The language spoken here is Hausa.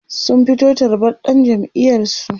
sun fito tarbar dan jam'iyar su